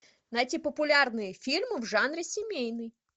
найти популярные фильмы в жанре семейный